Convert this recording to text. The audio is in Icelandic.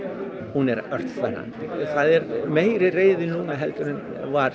hún er ört þverrandi það er meiri reiði núna heldur en var